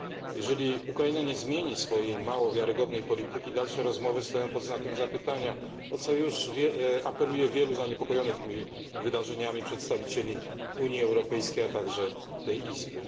Jeżeli Ukraina nie zmieni swojej mało wiarygodnej polityki, dalsze rozmowy stoją pod znakiem zapytania, o co już apeluje wielu zaniepokojonych tymi wydarzeniami przedstawicieli Unii Europejskiej, a także tej Izby.